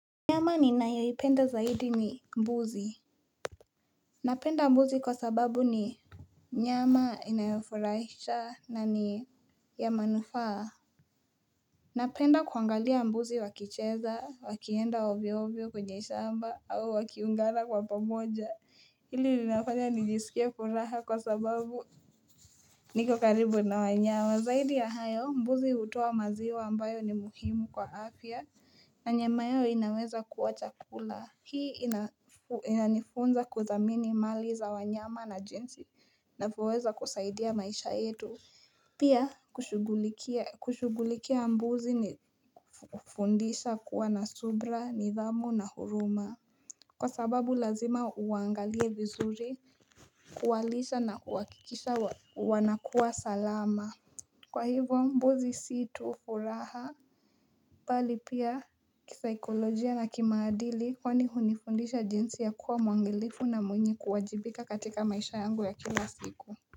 Nyama ni nayoipenda zaidi ni mbuzi Napenda mbuzi kwa sababu ni Nyama inayofurahisha na ni ya manufaa Napenda kuangalia mbuzi wakicheza wakienda ovyo ovyo kunye shamba au wakiungana kwa pamoja Hili ninafanya nijisikia furaha kwa sababu niko karibu na wanyawa zaidi ya hayo mbuzi hutoa maziwa ambayo ni muhimu kwa afya na nyama yao inaweza kuwa chakula Hii inanifunza kuthamini mali za wanyama na jinsi na kuweza kusaidia maisha yetu Pia kushugulikia mbuzi ni fundisha kuwa na subra, nidhamu na huruma Kwa sababu lazima uangalie vizuri, kuwalisha na kuakikisha wanakua salama Kwa hivyo mbuzi si tufuraha pali pia kisikolojia na kimaadili kwani hunifundisha jinsi ya kuwa mwangalifu na mwenye kuwajibika katika maisha yangu ya kila siku.